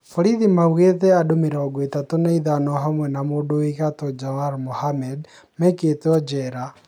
Borithi maugĩte andũ mĩrongo ithatũ na ithano hamwe na mũndũ wĩ gatũ Jawar Mohammed ,maikĩtwe jera